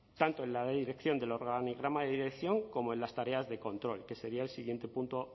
tanto en la de dirección del organigrama de dirección como en las tareas de control que sería el siguiente punto